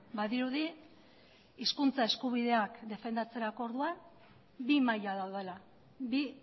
badirudi hizkuntza eskubideak defendatzerako orduan bi maila daudela bi